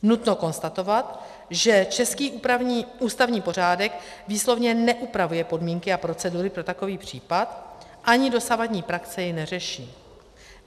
Nutno konstatovat, že český ústavní pořádek výslovně neupravuje podmínky a procedury pro takový případ, ani dosavadní praxe jej neřeší.